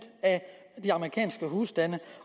af de amerikanske husstande